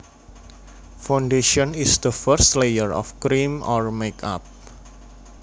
Foundation is the first layer of cream or makeup